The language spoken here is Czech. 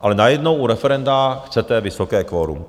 Ale najednou u referenda chcete vysoké kvorum.